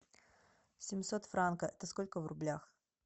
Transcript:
семьсот франка это сколько в рублях